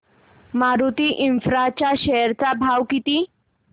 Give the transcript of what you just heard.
मारुती इन्फ्रा च्या शेअर चा भाव किती